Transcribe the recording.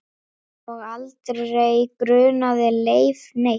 Og aldrei grunaði Leif neitt.